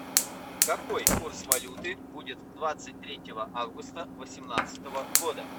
какой курс валюты будет двадцать третьего августа восемнадцатого года